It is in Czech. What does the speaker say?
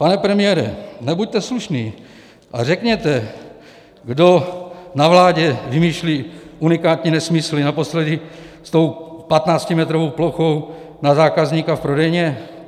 Pane premiére, nebuďte slušný a řekněte, kdo na vládě vymýšlí unikátní nesmysly, naposledy s tou patnáctimetrovou plochou na zákazníka v prodejně?